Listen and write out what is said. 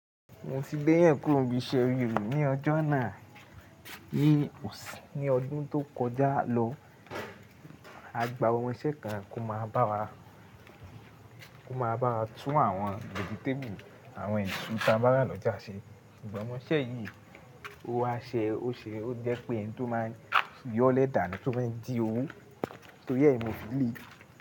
Mo ti gbẹ́ èèyàn kúrò nbí iṣẹ́ rí ní ọjọ́ náà. Ní ọdún tó kọjá lọ, a gba ọmọ iṣẹ́ kan to má b'awa kó máa bá wa tún àwọn vegetéèbùlù àwọn ẹ̀sù ta bá rà lọ́jà ṣe. Ọmọ iṣẹ́ yìí ó wa ṣe ó ṣe ó jẹ́ pé ẹni tó máa yọ́lẹ̀ dàni tó fẹ jí owó. Torí ẹ́ ni mo fi lè.